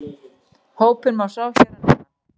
Hópinn má sjá hér að neðan